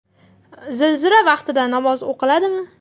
Zilzila vaqtida namoz o‘qiladimi?.